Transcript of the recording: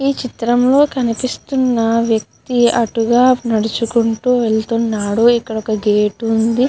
ఈ చిత్రంలో కనిపిస్తున్న వ్యక్తి అటుగా నడుచుకుంటూ వెళ్తున్నాడు. ఇక్కడ ఒక గేటు ఉంది.